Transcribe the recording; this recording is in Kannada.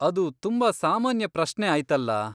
ಅದು ತುಂಬಾ ಸಾಮಾನ್ಯ ಪ್ರಶ್ನೆ ಆಯ್ತಲ್ಲಾ.